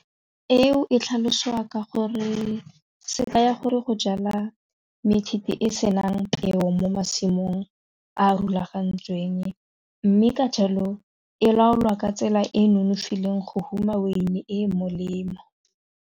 Eo se ka ya gore go jala e senang peo mo masimong a a rulagantsweng mme ka jalo e laolwa ka tsela e e nonofileng go huma wine e molemo.